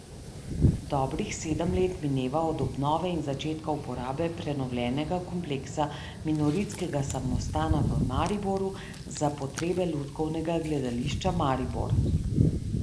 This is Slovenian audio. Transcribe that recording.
Dobrih sedem let mineva od obnove in začetka uporabe prenovljenega kompleksa minoritskega samostana v Mariboru, za potrebe Lutkovnega gledališča Maribor.